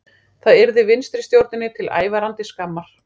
Það yrði vinstristjórninni til ævarandi skammar